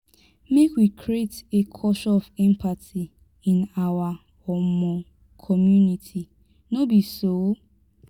make we create a culture of empathy in our um community no be so?